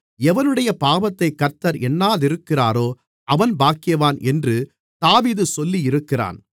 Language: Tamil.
எவனுடைய பாவத்தைக் கர்த்தர் எண்ணாதிருக்கிறாரோ அவன் பாக்கியவான் என்று தாவீது சொல்லியிருக்கிறான்